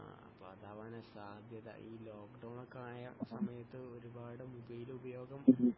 ആ അപ്പൊ അതാവാനാണ് സാധ്യത ഈ ലോക്കഡോൺ ഒക്കെ ആയ സമയത്ത് ഒരുപാട് മൊബൈൽ ഉപയോഗം